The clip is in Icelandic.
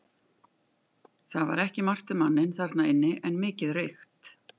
Það var ekki margt um manninn þarna inni en mikið reykt.